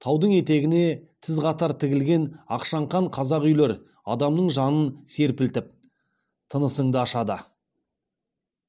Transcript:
таудың етегіне тіз қатар тігілген ақшаңқан қазақ үйлер адамның жанын серпілтіп тынысыңды ашады